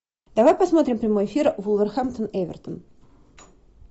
давай посмотрим прямой эфир вулверхэмптон эвертон